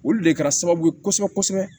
Olu de kɛra sababu ye kosɛbɛ kosɛbɛ